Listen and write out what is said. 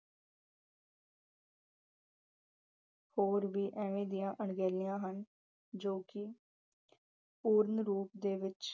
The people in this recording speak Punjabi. ਹੋਰ ਵੀ ਐਵੇਂ ਦੀਆ ਅਣਗਹਿਲੀਆਂ ਹਨ ਜੋ ਕਿ ਪੂਰਨ ਰੂਪ ਦੇ ਵਿੱਚ